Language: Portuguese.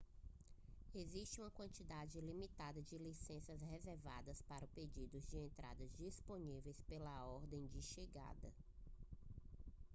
existe uma quantidade limitada de licenças reservadas para pedidos de entrada disponíveis pela ordem de chegada